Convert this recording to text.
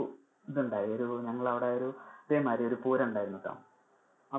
ഇത് ഉണ്ടായി ഒരു~ നമ്മളെ അവിടെ ഇതേ മാതിരി ഒരു പൂരം ഉണ്ടയായിരുന്നീട്ടോ,